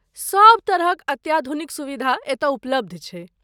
सभ तरहक अत्याधुनिक सुविधा एतय उपलब्ध छै।